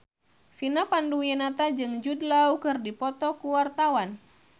Vina Panduwinata jeung Jude Law keur dipoto ku wartawan